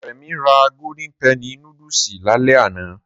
Remi ra golden penny núdúsì lálẹ́ àná